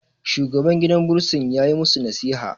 shugaban gidan bursin ya yi musu nasiha